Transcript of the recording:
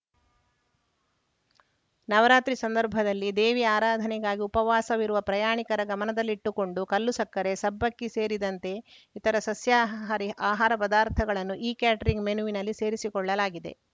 ನವರಾತ್ರಿ ಸಂದರ್ಭದಲ್ಲಿ ದೇವಿ ಆರಾಧನೆಗಾಗಿ ಉಪವಾಸವಿರುವ ಪ್ರಯಾಣಿಕರ ಗಮನದಲ್ಲಿಟ್ಟುಕೊಂಡು ಕಲ್ಲುಸಕ್ಕರೆ ಸಬ್ಬಕ್ಕಿ ಸೇರಿದಂತೆ ಇತರ ಸಸ್ಯಹಾರಿ ಆಹಾರ ಪದಾರ್ಥಗಳನ್ನು ಇಕ್ಯಾಟರಿಂಗ್‌ ಮೆನುವಿನಲ್ಲಿ ಸೇರಿಸಿಕೊಳ್ಳಲಾಗಿದೆ